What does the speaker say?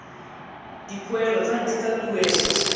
dipoelo tsa ntlha tsa tuelo